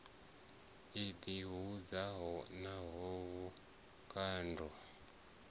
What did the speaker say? i ḓi hudzaho na vhukando